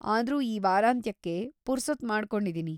ಆದ್ರೂ, ಈ ವಾರಾಂತ್ಯಕ್ಕೆ ಪುರ್ಸೊತ್ ಮಾಡ್ಕೊಂಡಿದಿನಿ.